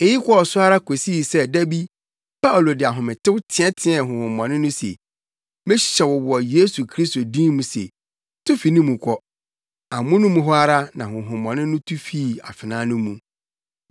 Eyi kɔɔ so ara kosii sɛ da bi Paulo de ahometew teɛteɛɛ honhommɔne no se, “Mehyɛ wo wɔ Yesu Kristo din mu se, tu fi ne mu kɔ!” Amono mu hɔ ara, na honhommɔne no tu fii afenaa no mu.